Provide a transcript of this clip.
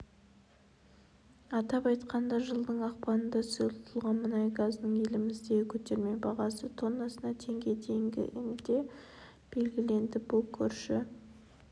атап айтқанда жылдың ақпанында сұйылтылған мұнай газының еліміздегі көтерме бағасы тоннасына теңге деңгейінде белгіленді бұл көрші